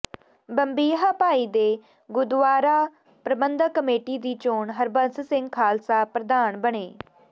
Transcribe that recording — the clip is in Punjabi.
ਬੰਬੀਹਾ ਭਾਈ ਦੇ ਗੁਰਦੁਆਰਾ ਪ੍ਰਬੰਧਕ ਕਮੇਟੀ ਦੀ ਚੋਣ ਹਰਬੰਸ ਸਿੰਘ ਖਾਲਸਾ ਪ੍ਰਧਾਨ ਬਣੇ